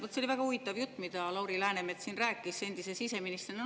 Vot see oli väga huvitav jutt, mida Lauri Läänemets siin rääkis, endise siseministrina.